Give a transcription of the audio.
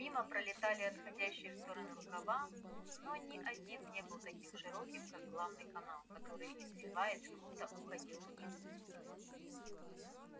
мимо пролетали отходящие в стороны рукава но ни один не был таким широким как главный канал который извиваясь круто уходил вниз